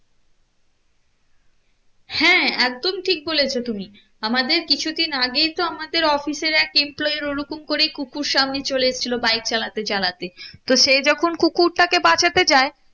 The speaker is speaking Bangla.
হ্যাঁ একদম ঠিক বলেছো তুমি আমাদের কিছু দিন আগেই তো আমাদের office এর এক employee র ওরকম করে কুকুর সামনে চলে এসেছিলো bike চালাতে চালাতে তো সে যখন কুকুরটাকে বাঁচাতে যায়